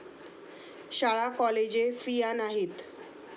शाळा कॉलेजे फिया नाहीत.